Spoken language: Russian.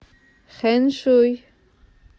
хэншуй